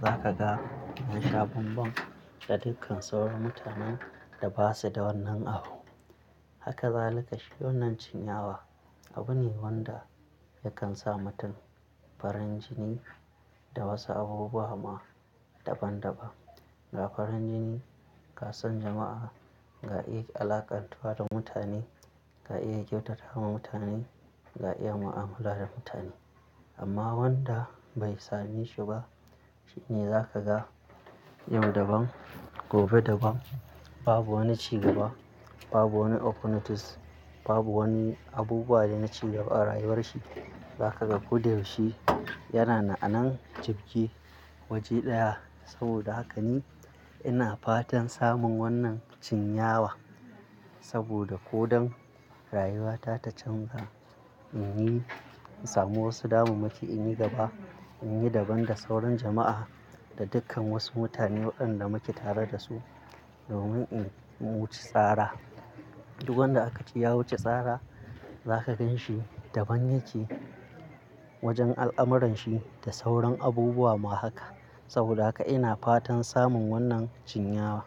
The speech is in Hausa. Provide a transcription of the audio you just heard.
za ka ga yasha bambam da dukkan sauran mutanen da basu da wannan abu. Haka zalika shi wannan cinyawa abu ne wanda yakan sa mutum farin jini da wasu abubuwa ma daban-daban. Ga farin jini, ga son jama'a, ga iya alaƙantuwa da mutane, ga iya kyautata wa mutane, ga iya mu'amala da mutane. Amma wanda bai sami shi ba, shi ne za ka ga yau daban, gobe daban. Babu wani cigaba, babu wani oppornities, babu wani abubuwa da na cigaba a rayuwarshi. Zaka ga koda yaushe yana na'anan jibge waje ɗaya. Saboda haka ni ina fatan samun wannan cinyawa saboda ko don rayuwa ta ta canza, in yi, in samu wasu damu maki, in yi gaba, in yi daban da sauran jama'a da dukkan wasu mutane waɗanda muke tare da su domin in wuce tsara. Duk wanda aka ci ya wuce tsara za ka ganshi daban yake wajen al'amuranshi da sauran abubuwa ma haka. Saboda haka ina fatan samun wannan cinyawa.